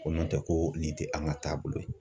Ko nɔntɛ ko nin tɛ an ka taabolo ye